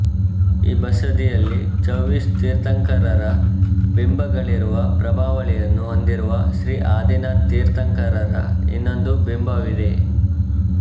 ಈ ಬಸದಿಯಲ್ಲಿ ಚೌವೀಸ ತೀರ್ಥಂಕರರ ಬಿಂಬಗಳಿರುವ ಪ್ರಭಾವಳಿಯನ್ನು ಹೊಂದಿರುವ ಶ್ರೀ ಆದಿನಾಥ ತೀರ್ಥಂಕರರ ಇನ್ನೊಂದು ಬಿಂಬವಿದೆ